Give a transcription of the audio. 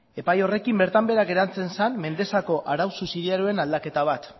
epai horrekin bertan behera geratzen zen mendexako arau subsidiarioen aldaketa bat